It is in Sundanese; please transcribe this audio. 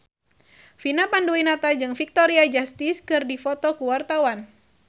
Vina Panduwinata jeung Victoria Justice keur dipoto ku wartawan